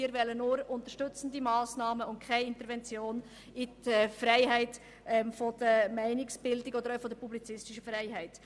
Wir wollen nur unterstützende Massnahmen und keinen Eingriff in die Freiheit der Meinungsbildung oder in die publizistische Freiheit.